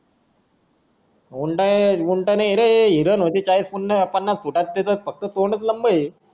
ऊंट नायरे हिरण होती चाळीस पनास फुटाची फक्त तिचा तोंडच लांबा हे